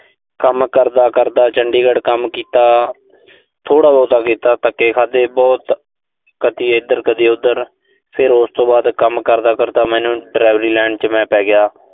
ਕੰਮ ਕਰਦਾ-ਕਰਦਾ-ਕਰਦਾ, ਚੰਡੀਗੜ ਕੰਮ ਕੀਤਾ। ਥੋੜਾ ਬਹੁਤਾ ਕੀਤਾ, ਧੱਕੇ ਖਾਧੇ ਬਹੁਤ। ਕਦੀ ਇਧਰ ਕਦੀ ਉਧਰ। ਫਿਰ ਉਸ ਤੋਂ ਬਾਅਦ ਕੰਮ ਕਰਦਾ ਕਰਦਾ ਮੈਨੂੰ delivery line ਚ ਮੈਂ ਪੈ ਗਿਆ।